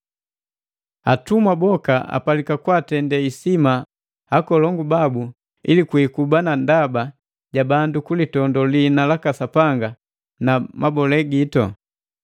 Atumwa boka apalika kwaatende isima akolongu babu ili kwikuba na ndaba ja bandu kulitondo lihina laka Sapanga na mabole gitu.